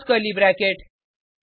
close curly bracket